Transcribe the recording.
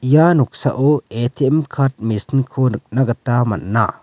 ia noksao A_T_M card machine-ko nikna gita man·a.